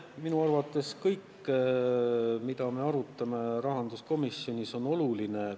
Minu arvates kõik, mida me rahanduskomisjonis arutame, on oluline.